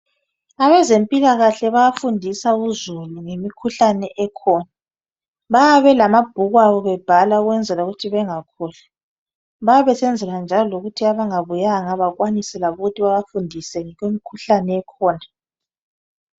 Abezempilakahle bayafundisa uzulu ngemikhuhlane ekhona. Bayabe belamabhuku abo bebhala ukwenzela ukuthi bengakhohlwa. Bayabe besenzela njalo ukuthi abangabuyanga bakwanise ukubafundisa ngemikhuhlane ekhona.